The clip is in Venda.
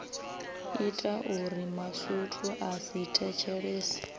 itauri masutu a sa thetshelese